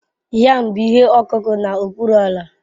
Yam bụ ihe ọkụkụ n'okpuru ala